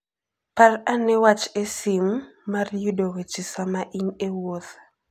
Par ane wach eSIM mar yudo weche sama in e wuoth.